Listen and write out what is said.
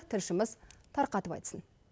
тілшіміз тарқатып айтсын